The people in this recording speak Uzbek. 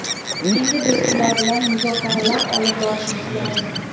Endi biz ular bilan muzokaralar olib borishimiz lozim.